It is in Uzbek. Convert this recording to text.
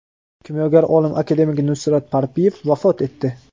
Kimyogar olim akademik Nusrat Parpiyev vafot etdi.